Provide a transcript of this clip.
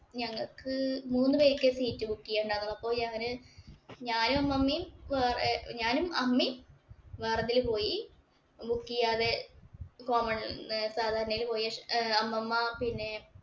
ഞങ്ങക്ക് മൂന്നു പേർക്കേ seat book ചെയ്യാൻ ഉണ്ടായിരുന്നുള്ളൂ. ഞാന് ഞാനും അമ്മമ്മയും വേറെ ഞാനും, അമ്മയും വേറെതില് പോയി. Book ചെയ്യാതെ common സാദാനേല് പോയി. അമ്മമ്മ പിന്നെ